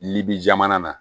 Libi jamana na